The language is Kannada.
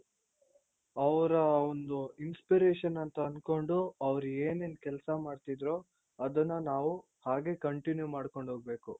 ಅವ್ರ ಒಂದು inspiration ಅಂತ ಆನ್ಕೊಂಡು ಅವ್ರೆನೇನ್ ಕೆಲ್ಸ ಮಾಡ್ತಿದ್ರೋ ಅದನ್ನ ನಾವು ಹಾಗೆ continue ಮಾಡ್ಕೊಂಡ್ ಹೋಗ್ಬೇಕು